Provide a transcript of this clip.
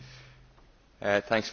Thanks for the question.